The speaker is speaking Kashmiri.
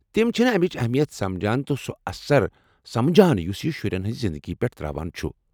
تِم چھِنہٕ امچ اہمیت سمجان تہٕ سُہ اثر سمجان یُس یہِ شُرٮ۪ن ہٕنٛزِ زنٛدگی پٮ۪ٹھ ترٛٲو چُھ۔